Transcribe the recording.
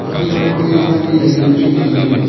aphaima kue ema ni ja yanu chu nganley.